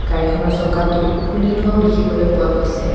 গাড়ীখনৰ চকাটো খুলি থোৱাও দেখিবলৈ পোৱা গৈছে।